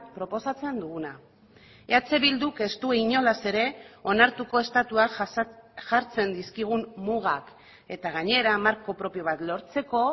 proposatzen duguna eh bilduk ez du inolaz ere onartuko estatuak jartzen dizkigun mugak eta gainera marko propio bat lortzeko